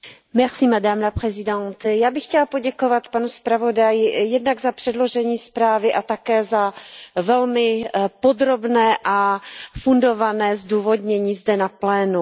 Paní předsedající, já bych chtěla poděkovat panu zpravodaji jednak za předložení zprávy a také za velmi podrobné a fundované zdůvodnění zde na plénu.